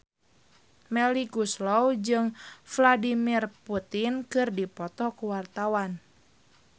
Melly Goeslaw jeung Vladimir Putin keur dipoto ku wartawan